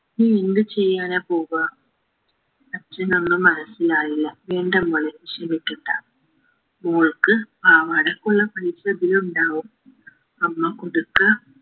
നീ എന്ത് ചെയ്യാനാ പോകാ അച്ഛനൊന്നും മനസിലായില്ല എന്റെ മോൾ വിഷമിക്കണ്ട മോൾക്ക് പാവാടക്കുള്ള പൈസ ഇതിലുണ്ടാകും അമ്മ കുടുക്ക